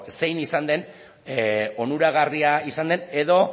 zein izan den onuragarria izan den edo